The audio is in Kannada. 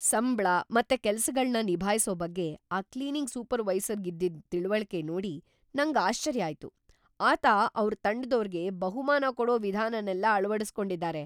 ಸಂಬ್ಳ ಮತ್ತೆ ಕೆಲ್ಸಗಳ್ನ ನಿಭಾಯ್ಸೋ ಬಗ್ಗೆ ಆ ಕ್ಲೀನಿಂಗ್ ಸೂಪರ್ವೈಸರ್‌ಗಿದ್ದಿದ್ ತಿಳ್ವಳಿಕೆ ನೋಡಿ ನಂಗ್ ಆಶ್ಚರ್ಯ ಆಯ್ತು. ಆತ ಅವ್ರ್ ತಂಡದೋರ್ಗೆ ಬಹುಮಾನ ಕೊಡೋ ವಿಧಾನನೆಲ್ಲ ಅಳವಡಿಸ್ಕೊಂಡಿದಾರೆ.